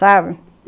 Sabe?